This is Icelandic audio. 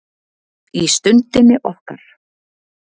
Í Stundinni okkar.